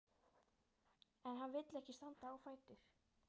En hann vill ekki standa á fætur.